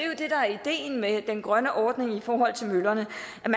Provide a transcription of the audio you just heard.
er ideen med den grønne ordning i forhold til møllerne